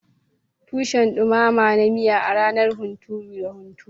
Tushen dumama na miya a ranar hunturu na hunturu.